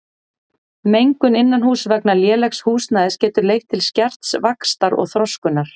Mengun innanhúss vegna lélegs húsnæðis getur leitt til skerts vaxtar og þroskunar.